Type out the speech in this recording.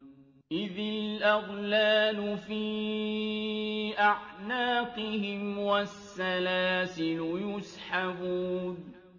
إِذِ الْأَغْلَالُ فِي أَعْنَاقِهِمْ وَالسَّلَاسِلُ يُسْحَبُونَ